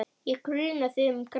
Ég gruna þig um græsku.